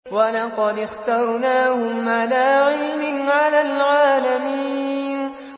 وَلَقَدِ اخْتَرْنَاهُمْ عَلَىٰ عِلْمٍ عَلَى الْعَالَمِينَ